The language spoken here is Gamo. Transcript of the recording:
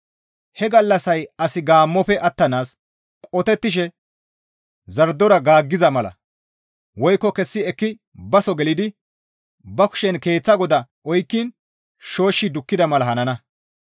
He gallassay asi gaammofe attanaas qotettishe zardora gaaggiza mala woykko kessi ekki baso gelidi ba kushen keeththa goda oykkiin shooshshi dukkida mala hanana.